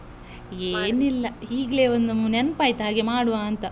ಏನ್ ಇಲ್ಲ ಹೀಗ್ಲೇ ಒನ್ ನೆನ್ಪ್ ಆಯ್ತ್, ಹಾಗೆ ಮಾಡ್ವಾ ಅಂತ.